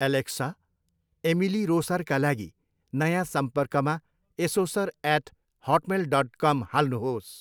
Alexa, Emily रोसरका लागि नयाँ सम्पर्कमा एसोसर एट हटमेल डट कम हाल्नुहोस्।